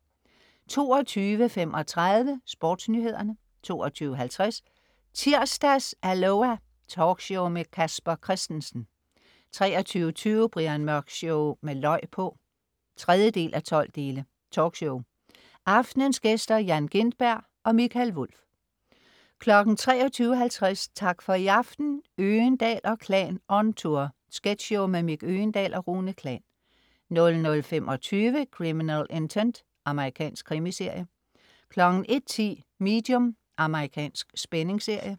22.35 SportsNyhederne 22.50 Tirsdags-Aloha! Talkshow med Casper Christensen 23.20 Brian Mørk Show med løg på! 3:12. Talkshow. Aftenens gæster: Jan Gintberg og Mikael Wulff 23.50 Tak for i aften. Øgendahl & Klan on tour. Sketchshow med Mick Øgendahl og Rune Klan 00.25 Criminal Intent. Amerikansk krimiserie 01.10 Medium. Amerikansk spændingsserie